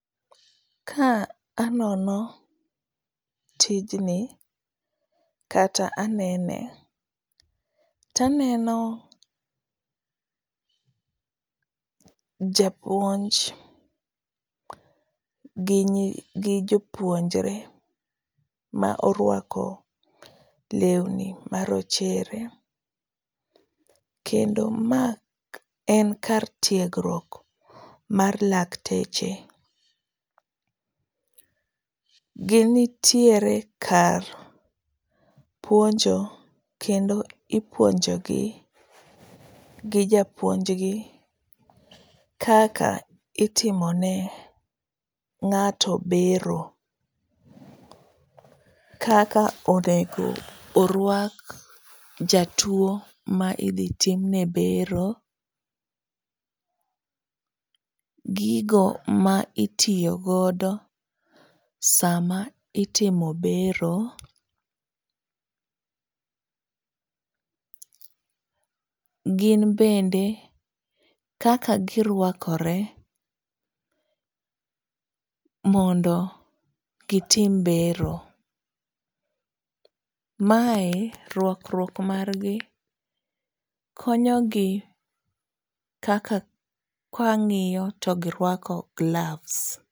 Ka anono tijni, kata anene taneno japuonj gi jopunjore ma orwako lewni marochere, kendo ma en kar tiegruok mar lakteche . Gintiere kar puonjo kendo ipuonjogi gijapuonjgi kaka itimone ng'ato bero. Kaka onego orwak jatuwo ma idhi timne bero, gigo ma itiyo godo sama itimo bero, gin bende kaka girwakore mondo gitim bero. Mae rwakruok margi konyogi kaka kang'iyo to girwako gloves.